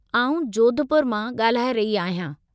आउं जोधपुर मां ॻाल्हाए रही आहियां।